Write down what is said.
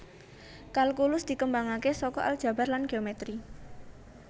Kalkulus dikembangké saka aljabar lan geometri